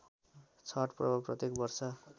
छठ पर्व प्रत्येक वर्ष